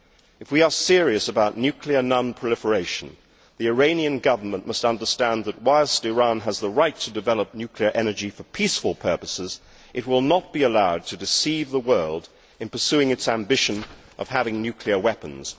If we are serious about nuclear non proliferation, the Iranian Government must understand that, whilst Iran has the right to develop nuclear energy for peaceful purposes, it will not be allowed to deceive the world in pursuing its ambition of having nuclear weapons.